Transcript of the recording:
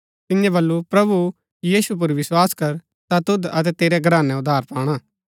तिन्ये बल्लू प्रभु यीशु पुर विस्वास कर ता तुद अतै तेरै घरानै उद्धार पाणा